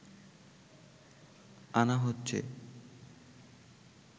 আনা হচ্ছে